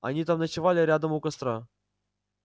они там ночевали рядом у костра